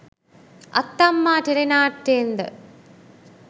අත්තම්මා ටෙලිනාට්‍යයෙන්ද?